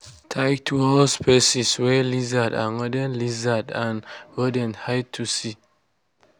tight wall spaces wey lizards and rodent lizards and rodent hide to see.